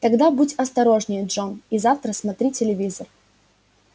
тогда будь осторожнее джон и завтра смотри телевизор